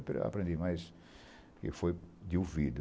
Eu aprendi, mais e foi de ouvido.